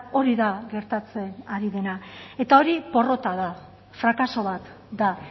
hori da gertatzen ari dena eta hori porrota da frakaso bat da